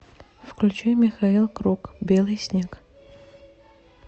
включи михаил круг белый снег